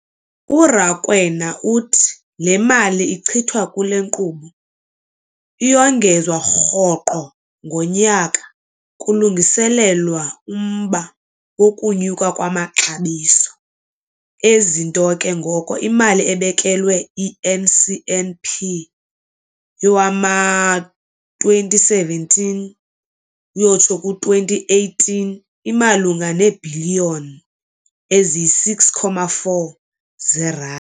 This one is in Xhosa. URakwena uthi le mali ichithwa kule nkqubo iyongezwa rhoqo ngonyaka kulungiselelwa umba wokunyuka kwamaxabiso ezinto, ke ngoko imali ebekelwe i-NCNP yowama-2017, 18 imalunga neebhiliyoni eziyi-6.4 zeerandi.